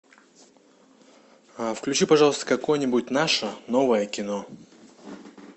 включи пожалуйста какое нибудь наше новое кино